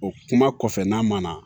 O kuma kɔfɛ n'a ma na